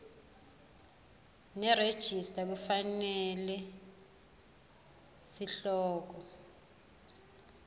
nerejista kufanele sihloko